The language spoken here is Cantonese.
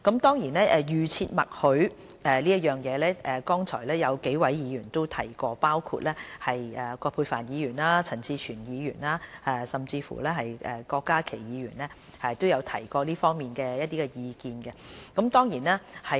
至於預設默許，剛才有幾位議員包括葛珮帆議員、陳志全議員和郭家麒議員都有提及這方面的意見。